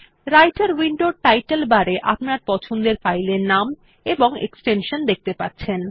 রাইটের উইন্ডোর title bar এ আপনার পছন্দের ফাইল এর নাম এবং এক্সটেনশন দেখতে পাচ্ছেন